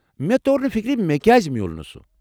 مےٚ تور نہِ فِكرِ مےٚ كیازِ مِیوٗل نہٕ سُہ ۔